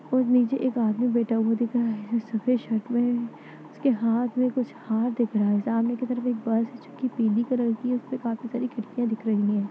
और नीचे एक आदमी बैठा हुआ दिख रहा है जो सफेद शर्ट में है उसके हाथ में कुछ हार दिख रहा है सामने की तरफ एक बस है जोकि पीली कलर की है उसपे काफी सारी खिड़कियां दिख रही है।